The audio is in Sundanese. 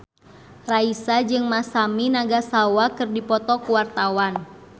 Raisa jeung Masami Nagasawa keur dipoto ku wartawan